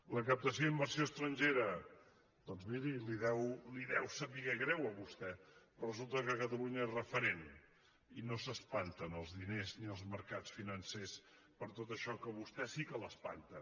la captació d’inversió estrangera doncs miri li deu saber greu a vostè pe·rò resulta que catalunya és referent i no s’espanten els diners ni els mercats financers per tot això que a vos·tè sí que l’espanta